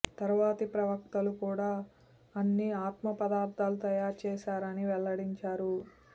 తరువాతి ప్రవక్తలు కూడా అన్ని ఆత్మ పదార్థాన్ని తయారు చేశారని వెల్లడించారు